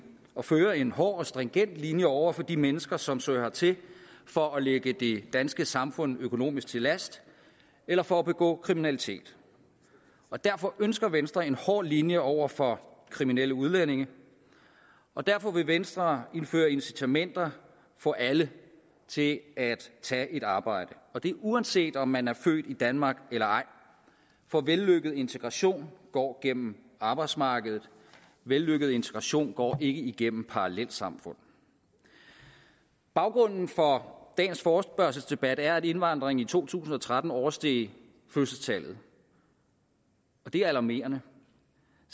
at føre en hård og stringent linje over for de mennesker som søger hertil for at ligge det danske samfund økonomisk til last eller for at begå kriminalitet og derfor ønsker venstre en hård linje over for kriminelle udlændinge og derfor vil venstre indføre incitamenter for alle til at tage et arbejde og det er uanset om man er født i danmark eller ej for vellykket integration går gennem arbejdsmarkedet vellykket integration går ikke igennem parallelsamfund baggrunden for dagens forespørgselsdebat er at indvandringen i to tusind og tretten oversteg fødselstallet og det er alarmerende